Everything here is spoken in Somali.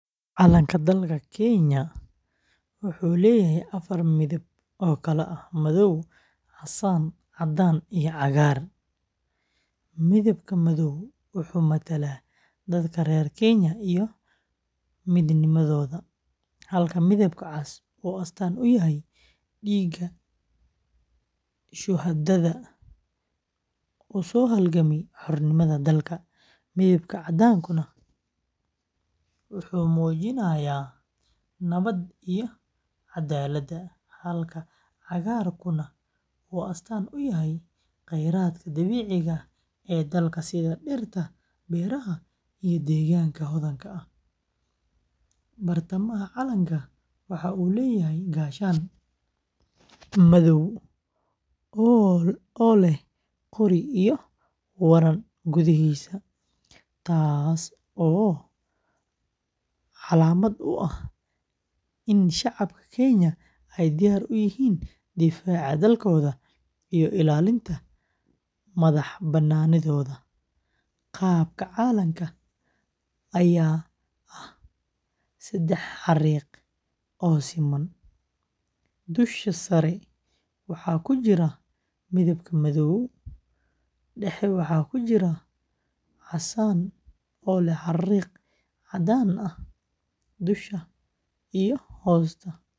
Calanka dalka Kenya waxa uu leeyahay afar midab oo kala ah: madow, casaan, caddaan, iyo cagaar. Midabka madow wuxuu matalaa dadka reer Kenya iyo midnimadooda, halka midabka cas uu astaan u yahay dhiigga shuhadada u soo halgamay xornimada dalka. Midabka caddaanku wuxuu muujinayaa nabadda iyo caddaaladda, halka cagaaruna uu astaan u yahay kheyraadka dabiiciga ah ee dalka sida dhirta, beeraha, iyo deegaanka hodanka ah. Bartamaha calanka waxa uu leeyahay gaashaan madow oo leh qori iyo waran gudihiisa, taas oo calaamad u ah in shacabka Kenya ay diyaar u yihiin difaaca dalkooda iyo ilaalinta madaxbannaanidooda. Qaabka calanka ayaa ah saddex xariiq oo siman: dusha sare waxaa ku jira midabka madow, dhexda waxaa ah casaan oo leh xariiq caddaan ah dusha iyo hoosta, halka hoose ee calanka uu yahay cagaar.